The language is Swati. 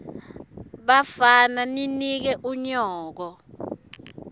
bafana ninike unyoko